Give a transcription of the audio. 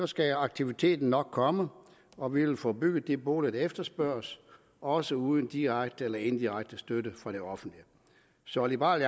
skal aktiviteten nok komme og vi vil få bygget de boliger der efterspørges også uden direkte eller indirekte støtte fra det offentlige så liberal